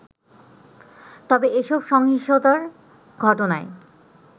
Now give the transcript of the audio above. তবে এসব সহিংসতার ঘটনায়